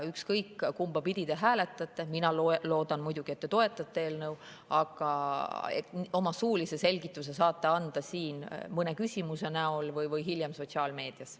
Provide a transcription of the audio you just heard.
Ükskõik kumba pidi te hääletate – mina loodan muidugi, et te toetate eelnõu –, oma suulise selgituse saate anda siin mõne küsimuse näol või hiljem sotsiaalmeedias.